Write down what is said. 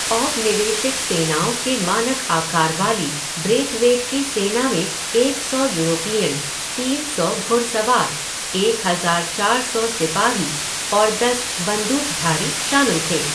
औपनिवेशिक सेनाओं के मानक आकार वाली ब्रेथवेट की सेना में एक सौ यूरोपीयन, तीन सौ घुड़सवार, एक हज़ार चार सौ सिपाही और दस बंदूकधारी शामिल थे।